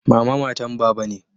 Mama matan baba ne.